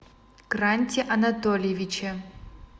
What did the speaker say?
гранте анатольевиче